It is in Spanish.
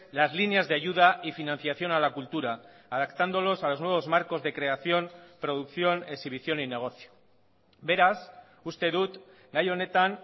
las líneas de ayuda y financiación a la cultura adaptándolos a los nuevos marcos de creación producción exhibición y negocio beraz uste dut gai honetan